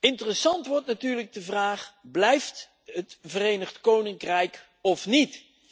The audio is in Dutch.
Interessant wordt natuurlijk de vraag Blijft het Verenigd Koninkrijk of niet?.